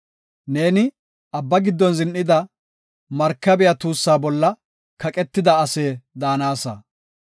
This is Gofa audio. Neeni abba giddon zin7ida, markabiya tuussa bolla katida ase daanasa.